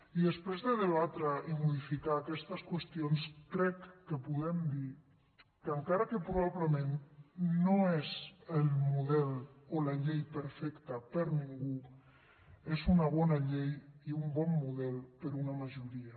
i després de debatre i modificar aquestes qüestions crec que podem dir que encara que probablement no és el model o la llei perfecta per a ningú és una bona llei i un bon model per a una majoria